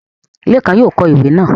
Lékan yóò kọ ìwé náà